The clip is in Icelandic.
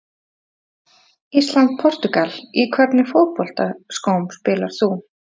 Ísland- Portúgal Í hvernig fótboltaskóm spilar þú?